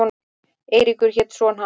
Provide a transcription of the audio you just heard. Eiríkur hét son hans.